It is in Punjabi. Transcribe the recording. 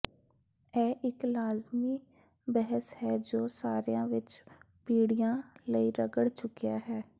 ਇਹ ਇਕ ਲਾਜ਼ਮੀ ਬਹਿਸ ਹੈ ਜੋ ਸਰ੍ਹਿਆਂ ਵਿਚ ਪੀੜ੍ਹੀਆਂ ਲਈ ਰਗੜ ਚੁੱਕਿਆ ਹੈ